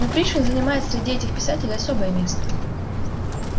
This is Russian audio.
но пришвин занимает среди этих писателей особое место